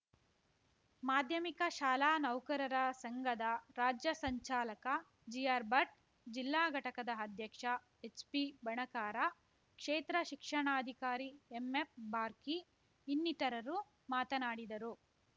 ಮಾಧ್ಯಮಿಕ ಶಾಲಾ ನೌಕರರ ಸಂಘದ ರಾಜ್ಯ ಸಂಚಾಲಕ ಜಿಆರ್ಭಟ್ ಜಿಲ್ಲಾ ಘಟಕದ ಅಧ್ಯಕ್ಷ ಎಚ್ಪಿಬಣಕಾರ ಕ್ಷೇತ್ರ ಶಿಕ್ಷಣಾಧಿಕಾರಿ ಎಂಎಫ್ಬಾರ್ಕಿ ಇನ್ನಿತರರು ಮಾತನಾಡಿದರು